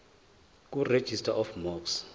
kuregistrar of gmos